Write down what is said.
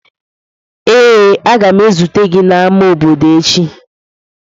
Ee, a ga m ezute gị n'ámá obodo echi.